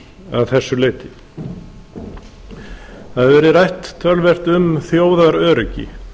að þessu leyti það hefur rætt töluvert um þjóðaröryggi